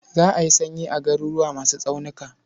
Za a yi sanyi a garuruwa masu tsaunuka.